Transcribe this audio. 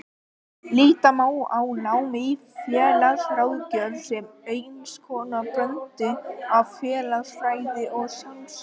Líta má á nám í félagsráðgjöf sem eins konar blöndu af félagsfræði og sálfræði.